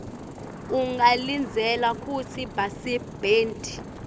ungalindzela kutsi basebenti